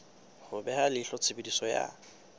ho beha leihlo tshebediso ya